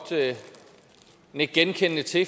nikke genkendende til